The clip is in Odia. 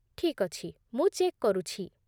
ଠିକ୍ ଅଛି, ମୁଁ ଚେକ୍ କରୁଛି ।